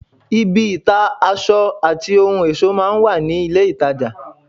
ibi ìta aṣọ àti ohun ẹ̀ṣọ́ máa ń wà ní ilé-ìtajà